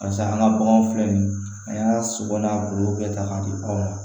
Barisa an ka baganw filɛ nin ye an y'a sogo n'a bulu bɛɛ ta k'a di anw ma